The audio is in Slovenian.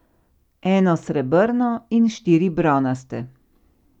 Eno srebrno in štiri bronaste.